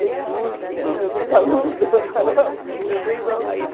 dei cursos né, meus ex-alunos meus ex-alunos.